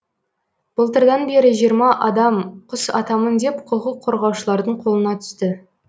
былтырдан бері жиырма адам құс атамын деп құқық қорғаушылардың қолына түсті